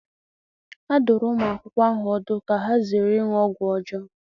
A dụrụ ụmụ akwụkwọ ahụ ọdụ ka ha zere ịṅụ ọgwụ ọjọọ.